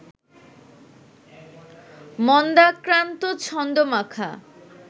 মন্দাক্রান্ত ছন্দ-মাখা